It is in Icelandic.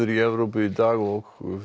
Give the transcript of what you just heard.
í Evrópu í dag og